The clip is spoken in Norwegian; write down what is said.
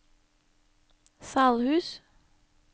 Salhus